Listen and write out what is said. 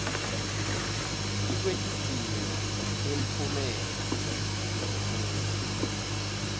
tikwetidzingo temphumela wekufundza